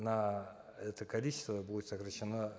на это количество будет сокращено